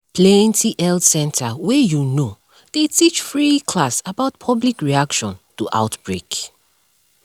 plenty health center wey you know dey teach free class about public reaction to outbreak